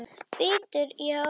Bítur í hárið á sér.